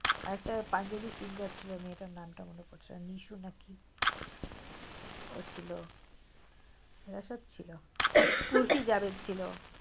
আরেক তা পাঞ্জাবি singer ছিল মেয়েটার নামটা মনে পড়ছে না নিশু নাকি কি ও ছিল এরা সবে ছিল উর্সি জাবেদ ছিল